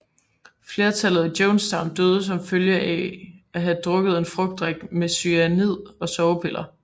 Flertallet i Jonestown døde som følge af at have drukket en frugtdrik med cyanid og sovepiller